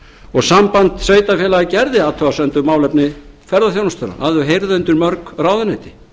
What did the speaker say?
og samband sveitarfélaga gerði athugasemd við málefni ferðaþjónustunnar að hún heyrði undir mörg ráðuneyti